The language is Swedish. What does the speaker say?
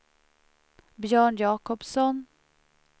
Björn Jakobsson